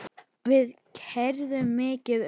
Við keyrðum mikið um.